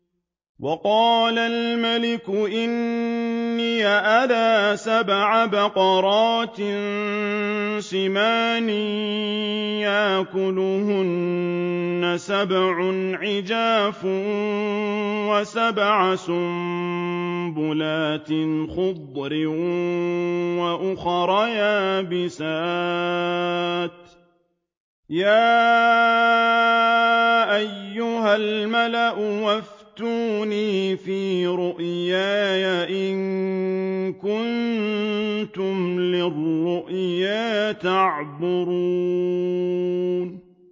وَقَالَ الْمَلِكُ إِنِّي أَرَىٰ سَبْعَ بَقَرَاتٍ سِمَانٍ يَأْكُلُهُنَّ سَبْعٌ عِجَافٌ وَسَبْعَ سُنبُلَاتٍ خُضْرٍ وَأُخَرَ يَابِسَاتٍ ۖ يَا أَيُّهَا الْمَلَأُ أَفْتُونِي فِي رُؤْيَايَ إِن كُنتُمْ لِلرُّؤْيَا تَعْبُرُونَ